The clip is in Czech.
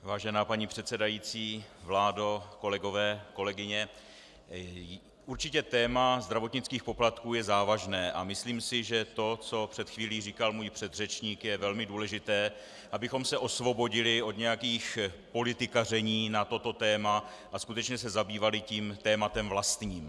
Vážená paní předsedající, vládo, kolegové, kolegyně, určitě téma zdravotnických poplatků je závažné a myslím si, že to, co před chvílí říkal můj předřečník, je velmi důležité - abychom se osvobodili od nějakých politikaření na toto téma a skutečně se zabývali tím tématem vlastním.